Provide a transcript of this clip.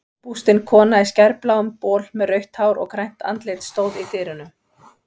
Bústin kona í skærbláum bol með rautt hár og grænt andlit stóð í dyrunum.